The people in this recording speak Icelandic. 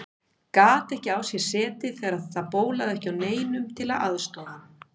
Gat ekki á sér setið þegar það bólaði ekki á neinum til að aðstoða hann.